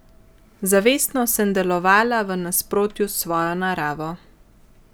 Zavestno sem delovala v nasprotju s svojo naravo.